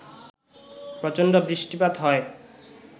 প্রচণ্ড বৃষ্টিপাত হয়